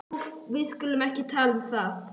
Úff, við skulum ekki tala um það.